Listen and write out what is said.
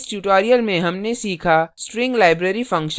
इस tutorial में हमने सीखा string library functions